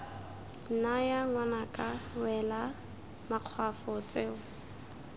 nnyaya ngwanaka wela makgwafo tseo